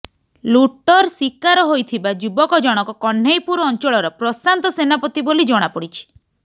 ଲୁଟର ଶିକାର ହୋଇଥିବା ଯୁବକ ଜଣକ କହ୍ନେଇପୁର ଅଞ୍ଚଳର ପ୍ରଶାନ୍ତ ସେନାପତି ବୋଲି ଜଣାପଡିଛି